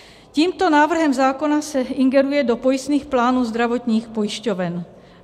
Tímto návrhem zákona se ingeruje do pojistných plánů zdravotních pojišťoven.